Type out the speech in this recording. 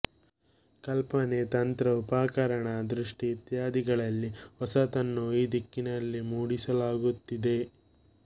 ಕಲ್ಪನೆ ತಂತ್ರ ಉಪಕರಣ ದೃಷ್ಟಿ ಇತ್ಯಾದಿಗಳಲ್ಲಿ ಹೊಸತನ್ನು ಈ ದಿಕ್ಕಿನಲ್ಲಿ ಮೂಡಿಸ ಲಾಗುತ್ತಿದೆ